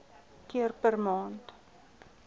keer per maand